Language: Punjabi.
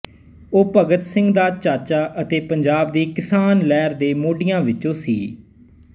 ਉਹ ਭਗਤ ਸਿੰਘ ਦਾ ਚਾਚਾ ਅਤੇ ਪੰਜਾਬ ਦੀ ਕਿਸਾਨ ਲਹਿਰ ਦੇ ਮੋਢੀਆਂ ਵਿੱਚੋਂ ਸੀ